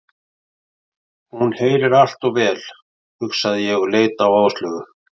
Hún heyrir allt of vel, hugsaði ég og leit á Áslaugu.